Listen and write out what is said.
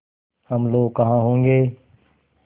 हम लोग कहाँ होंगे